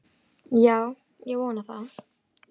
Já, ég vona það.